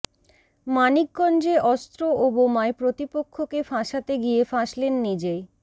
মানিকগঞ্জে অস্ত্র ও বোমায় প্রতিপক্ষকে ফাঁসাতে গিয়ে ফাঁসলেন নিজেই